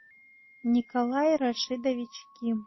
николай рашидович ким